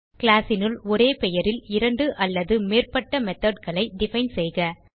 classனுள் ஒரே பெயரில் இரண்டு அல்லது மேற்பட்ட methodகளை டிஃபைன் செய்க